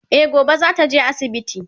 E gobe zata je asibiti